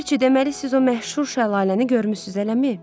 Ləpirçi, deməli siz o məşhur şəlaləni görmüsüz, eləmi?